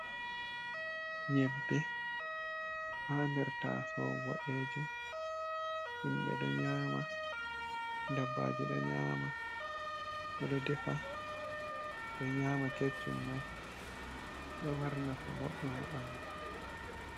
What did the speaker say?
Nyebbe ha ndr taso boɗejum, himɓe ɗo nyama, dabbaje ɗo nyama, ɓeɗo defa, ɓe nyama keccum mai, ɗo mari nafu boɗɗum ha ɓandu.